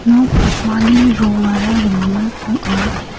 nok pakmani rongara rimit ong·a.